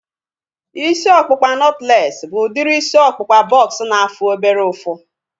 Isi ọkpụkpa nọtlees bụ udiri isi ọkpụkpa bọks na-afụ obere ụfụ